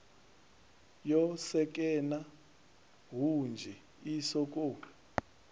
yo sekena hunzhi i sokou